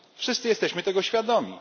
Wszyscy jesteśmy tego świadomi.